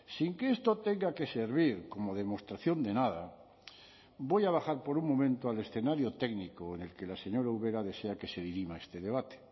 sin que esto tenga que servir como demostración de nada voy a bajar por un momento al escenario técnico en el que la señora ubera desea que se dirima este debate